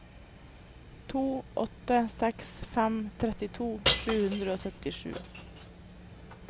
to åtte seks fem trettito sju hundre og syttisju